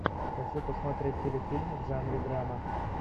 хочу посмотреть телефильм в жанре драма